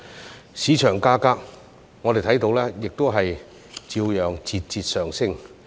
至於市場價格，我們看到亦照樣節節上升。